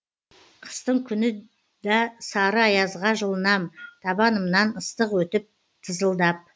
қыстың күні да сары аязға жылынам табанымнан ыстық өтіп тызылдап